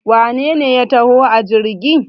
wanene ya taho a jirgi?